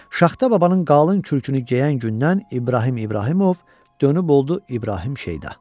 Şaxta babanın qalın kürkünü geyən gündən İbrahim İbrahimov dönüb oldu İbrahim Şeyda.